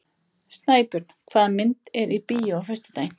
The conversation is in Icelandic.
Snæbjörn, hvaða myndir eru í bíó á föstudaginn?